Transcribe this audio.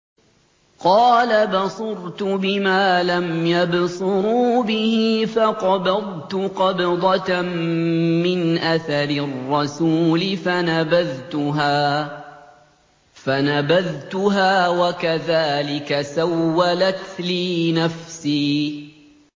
قَالَ بَصُرْتُ بِمَا لَمْ يَبْصُرُوا بِهِ فَقَبَضْتُ قَبْضَةً مِّنْ أَثَرِ الرَّسُولِ فَنَبَذْتُهَا وَكَذَٰلِكَ سَوَّلَتْ لِي نَفْسِي